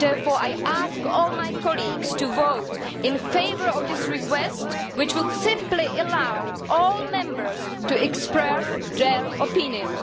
Therefore I ask all my colleagues to vote in favour of this request, which will simply allow all Members to express their opinion.